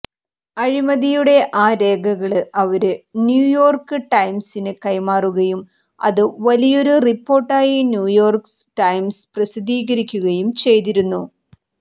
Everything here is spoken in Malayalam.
അഴിമതിയുടെ ആ രേഖകള് അവര് ന്യൂയോര്ക്ക് ടൈംസിന് കൈമാറുകയും അത് വലിയൊരു റിപ്പോര്ട്ടായി ന്യൂയോര്ക്ക് ടൈംസ് പ്രസിദ്ധീകരിക്കുകയും ചെയ്തിരുന്നു